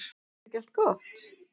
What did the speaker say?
Er ekki allt gott?